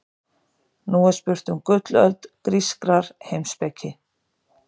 Nú er spurt um gullöld grískrar heimspeki.